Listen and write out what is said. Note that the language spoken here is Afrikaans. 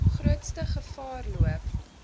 grootste gevaar loop